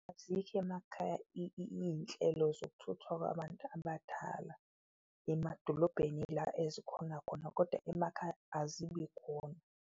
Azikho emakhaya iyinhlelo zokuthuthwa kwabantu abadala, emadolobheni ila ezikhonakhona koda emakhaya azibi khona